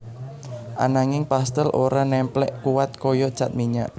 Ananging pastèl ora némplék kuwat kaya cat minyak